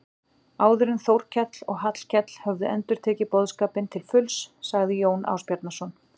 Áður en Þórkell og Hallkell höfðu inntekið boðskapinn til fulls sagði Jón Ásbjarnarson